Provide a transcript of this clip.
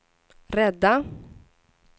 rädda